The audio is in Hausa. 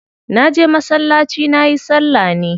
Na je masallaci nayi salla ne.